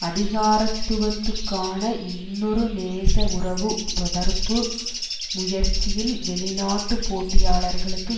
அதிகாரத்துவத்துக்கான இன்னொரு நேச உறவு தொடர்பு முயற்சியில் வெளிநாட்டுப் போட்டியாளர்களுக்கு